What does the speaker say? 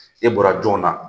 E bɔra jɔn na?